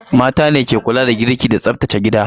Mata ne ke kula da girki da tsaftace gida.